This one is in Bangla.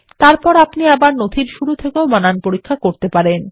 তারপর আপনি ডকুমেন্টের শুরু থেকেও বানান পরীক্ষাকরতে পারেন